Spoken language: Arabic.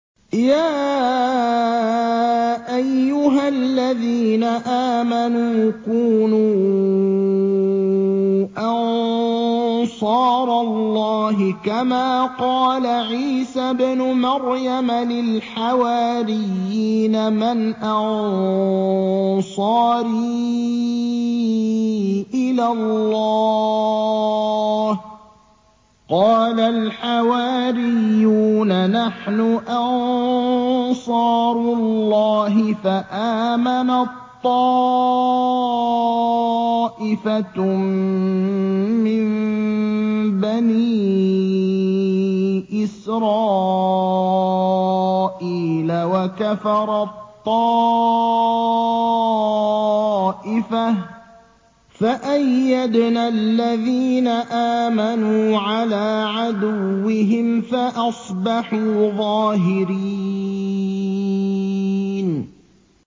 يَا أَيُّهَا الَّذِينَ آمَنُوا كُونُوا أَنصَارَ اللَّهِ كَمَا قَالَ عِيسَى ابْنُ مَرْيَمَ لِلْحَوَارِيِّينَ مَنْ أَنصَارِي إِلَى اللَّهِ ۖ قَالَ الْحَوَارِيُّونَ نَحْنُ أَنصَارُ اللَّهِ ۖ فَآمَنَت طَّائِفَةٌ مِّن بَنِي إِسْرَائِيلَ وَكَفَرَت طَّائِفَةٌ ۖ فَأَيَّدْنَا الَّذِينَ آمَنُوا عَلَىٰ عَدُوِّهِمْ فَأَصْبَحُوا ظَاهِرِينَ